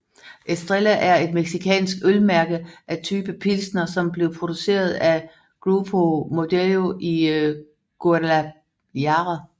Estrella er et mexicansk ølmærke af type pilsner som bliver produceret af Grupo Modelo i Guadalajara